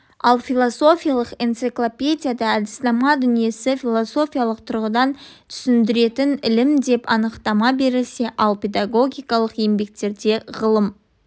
ал философиялық энциклопедияда әдіснама дүниені философиялық тұрғыдан түсіндіретін ілім деп анықтама берілсе ал педагогикалық еңбектерде ғылым